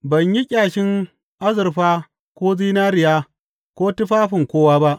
Ban yi ƙyashin azurfa ko zinariya ko tufafin kowa ba.